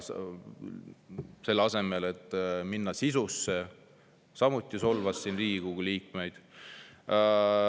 Selle asemel, et minna sisusse, solvas siin Riigikogu liikmeid.